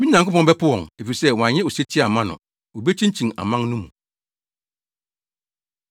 Me Nyankopɔn bɛpo wɔn, efisɛ, wɔanyɛ osetie amma no; Wobekyinkyin aman no mu.